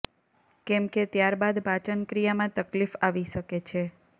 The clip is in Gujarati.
કેમ કે ત્યાર બાદ પાચનક્રિયામાં તકલીફ આવી શકે છે